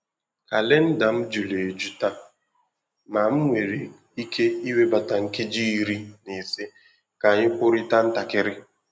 Kalenda m juru eju taa, ma m nwèrè íké iwebata nkeji iri na ise ka anyị kwurịta ntakịrị.